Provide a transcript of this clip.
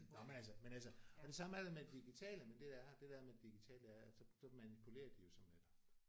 Nåh men altså men altså og det samme er det med de digitale men det der er det der er med de digitale er at så så manipulerer de jo så med dig